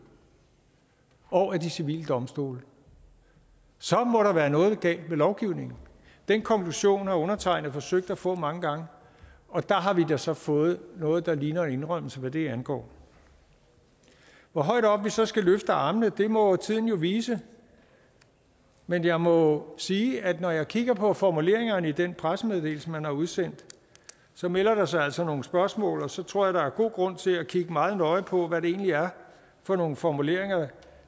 og af de civile domstole så må der være noget galt med lovgivningen den konklusion har undertegnede forsøgt at få frem mange gange og der har vi da så fået noget der ligner en indrømmelse hvad det angår hvor højt op vi så skal løfte armene må tiden jo vise men jeg må sige at når jeg kigger på formuleringerne i den pressemeddelelse man har udsendt så melder der sig altså nogle spørgsmål og så tror jeg at der er god grund til at kigge meget nøje på hvad det egentlig er for nogle formuleringer